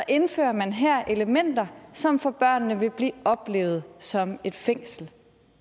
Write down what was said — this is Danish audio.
indfører man her elementer som for børnene vil blive oplevet som et fængsel